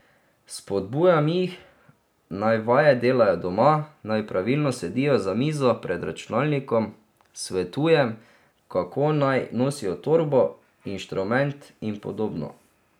Spodbujam jih, naj vaje delajo doma, naj pravilno sedijo za mizo, pred računalnikom, svetujem, kako naj nosijo torbo, inštrument in podobno.